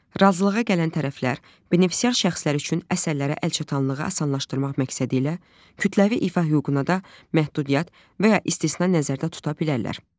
Razılığa gələn tərəflər benefisiar şəxslər üçün əsərlərə əlçatanlığı asanlaşdırmaq məqsədilə kütləvi ifa hüququna da məhdudiyyət və ya istisna nəzərdə tuta bilərlər.